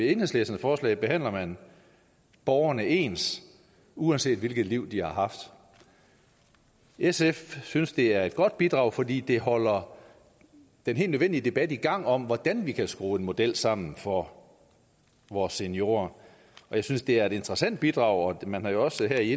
enhedslistens forslag behandler man borgerne ens uanset hvilket liv de har haft sf synes det er et godt bidrag fordi det holder den helt nødvendige debat i gang om hvordan vi kan skrue en model sammen for vores seniorer og jeg synes det er et interessant bidrag man har jo også her i